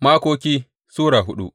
Makoki Sura hudu